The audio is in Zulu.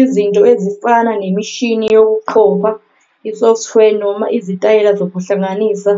Izinto ezifana nemishini yokuqopha i-software noma izitayela zokuhlanganisa